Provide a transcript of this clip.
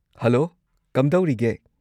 Hello, ꯀꯝꯗꯧꯔꯤꯒꯦ?